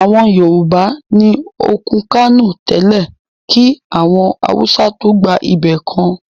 Àwọn Yorùbá ni òkún Kánò tẹ́lẹ́ kí àwọn Awùsá tóó gba ibẹ̀ kan